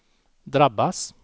drabbas